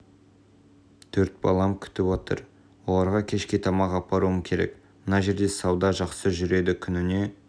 төрт балам күтіп отыр оларға кешке тамақ апаруым керек мына жерде сауда жақсы жүреді күніне